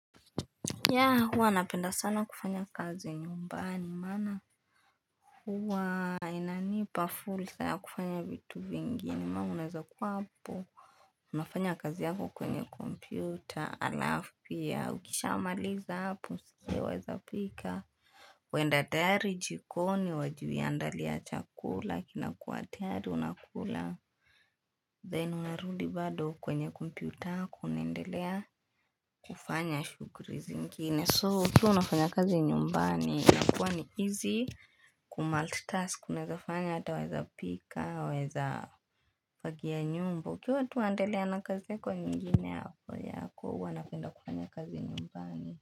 Yeah, huwa napenda sana kufanya kazi nyumbani maana huwa inanipa fursa ya kufanya vitu vingine maana unaweza kuwa hapo, unafanya kazi yako kwenye kompyuta alafu pia ukishamaliza hapo pia waweza pika Waenda tayari jikoni, wajiandalia chakula kinakuwa tayari unakula, then unarudi bado kwenye kompyuta yako unaendelea kufanya shughuli zingine. So ukiwa unafanya kazi nyumbani inakuwa ni easy ku multitask unaweza fanya hata waeza pika waeza fagia nyumba ukiwa tu waendelea na kazi yako nyingine hapo yako huwa napenda kufanyia kazi nyumbani.